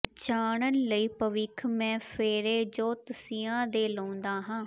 ਜਾਨਣ ਲਈ ਭਵਿਖ ਮੈ ਫੇਰੇ ਜੋਤਸ਼ੀਆ ਦੇ ਲਾਉਂਦਾ ਹਾਂ